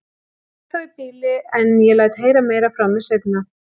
Ég kveð þá í bili, en ég læt heyra meira frá mér seinna.